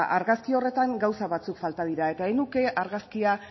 argazki horretan gauza batzuk falta dira ez nuke argazki